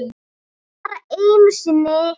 Bara einu sinni?